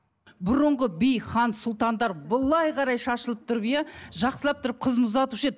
бұрынғы би хан сұлтандар былай қарай шашылып тұрып иә жақсылап тұрып қызын ұзатушы еді